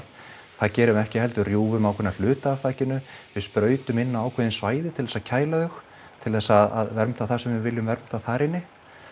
það gerum við ekki heldur rjúfum ákveðna hluta af þakinu við sprautum inn á ákveðin svæði til þess að kæla þau til þess að vernda það sem við viljum vernda þar inni